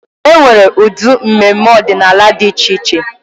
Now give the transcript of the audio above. E nwere ụdị mmemme ọdịnala dị iche iche.